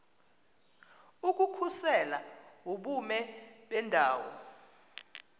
ukukhusela ubume bendawo